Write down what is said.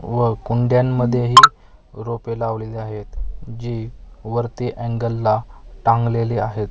व कुंड्यांमध्येही रोपे लावलेली आहेत जी वरती अँगल ला टांगलेली आहेत.